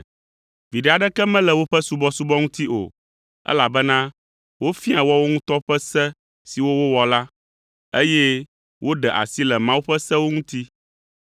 Viɖe aɖeke mele woƒe subɔsubɔ ŋuti o, elabena wofiaa woawo ŋutɔ ƒe se siwo wowɔ la, eye woɖe asi le Mawu ƒe sewo ŋuti.’ ”